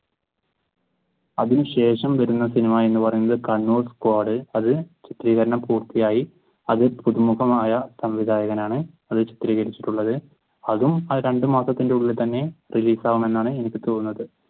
അതിനു ശേഷം വരുന്ന സിനിമ എന്ന് പറയുന്നത് കണ്ണൂർ സ്‌ക്വാഡ്. അത് ചിത്രീകരണം പൂർത്തിയായി. അത് പുതുമുഖമായ സംവിധായകനാണ് അത് ചിത്രീകരിച്ചിട്ടുളത് അത് ആ രണ്ടു മാസത്തിന്റെ ഉള്ളിൽ തന്നെ release ആവും എന്നാണ് എനിക്ക് തോന്നുന്നത്.